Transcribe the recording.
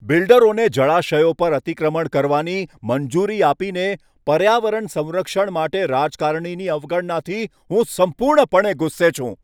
બિલ્ડરોને જળાશયો પર અતિક્રમણ કરવાની મંજૂરી આપીને પર્યાવરણ સંરક્ષણ માટે રાજકારણીની અવગણનાથી હું સંપૂર્ણપણે ગુસ્સે છું.